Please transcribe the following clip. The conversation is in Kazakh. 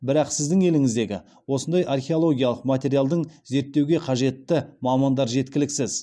бірақ сіздің еліңіздегі осындай археологиялық материалдың зерттеуге қажетті мамандар жеткіліксіз